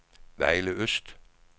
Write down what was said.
Vejle Øst